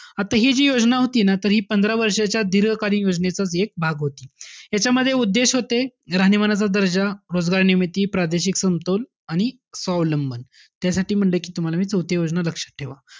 त हि जी योजना होती ना, तर हि पंधरा वर्षाच्या दीर्घकालीन योजनेचाच एक भाग होती. ह्याच्यामध्ये उद्देश होते, राहणीमानाचा दर्जा, रोजगार निर्मिती, प्रादेशिक समतोल आणि स्वावलंबन. त्यासाठी म्हंटलय, तुम्हाला मी कि, चौथी योजना लक्षात ठेवा.